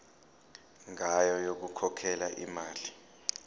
ngayo yokukhokhela imali